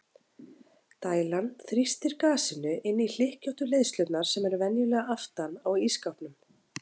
Dælan þrýstir gasinu inn í hlykkjóttu leiðslurnar sem eru venjulega aftan á ísskápnum.